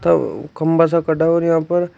अव खंबा सा यहां पर।